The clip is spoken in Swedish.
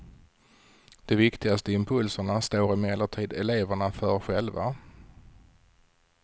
De viktigaste impulserna står emellertid eleverna för själva.